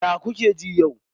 Ya kuke ji yau?